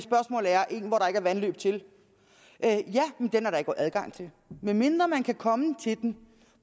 vandløb til den er der ikke adgang til medmindre man kan komme til den